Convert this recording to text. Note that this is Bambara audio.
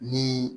Ni